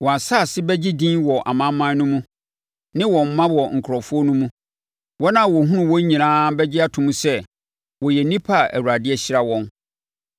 Wɔn asefoɔ bɛgye din wɔ amanaman no mu ne wɔn mma wɔ nkurɔfoɔ no mu. Wɔn a wɔhunu wɔn nyinaa bɛgye ato mu sɛ wɔyɛ nnipa a Awurade ahyira wɔn.”